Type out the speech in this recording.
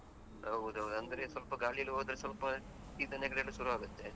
ಹೌದು ಹೌದು ಅಂದ್ರೆ ಸ್ವಲ್ಪ ಗಾಳಿಯಲ್ಲಿ ಹೋದ್ರೆ ಸ್ವಲ್ಪ ಶೀತ ನೆಗಡಿಯೆಲ್ಲಾ ಸುರು ಆಗುತ್ತೆ.